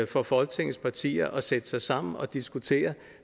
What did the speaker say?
for folketingets partier at sætte sig sammen og diskutere